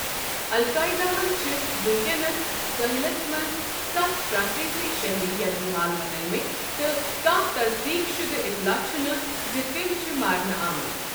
القاعدہ ہن چھِ وٕنکٮ۪نس ساحلَس منٛز ستھ فرانسیسی شہری یرغمال بنٲوتھ تہٕ کانٛہہ تصدیٖق شدٕ اطلاع چھنہٕ زِ تِم چھِ مارنہٕ آمٕتۍ۔